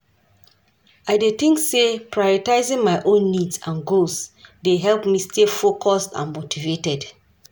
I dey think say prioritizing my own needs and goals dey help me stay focused and motivated.